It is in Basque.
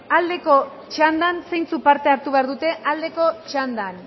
aldeko txandan zeintzuk parte hartu behar dute aldeko txandan